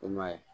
I m'a ye